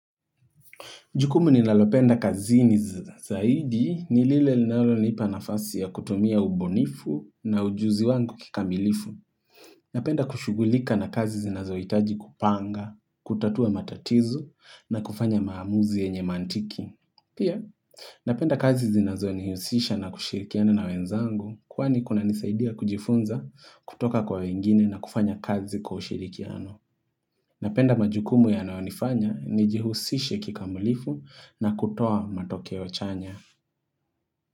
Jukumu ni nalopenda kazi ni zaidi ni lile nalopenda nafasi ya kutumia ubunifu na ujuzi wangu kikamilifu. Napenda kushugulika na kazi zinazo itaji kupanga, kutatua matatizo na kufanya maamuzi yenye mantiki. Pia, napenda kazi zinazo ni hiusisha na kushirikiana na wenzangu kuwani kuna nisaidia kujifunza kutoka kwa wengine na kufanya kazi kwa ushirikiano. Napenda majukumu ya naonifanya ni jihusishe kikamulifu na kutoa matokeo chanya.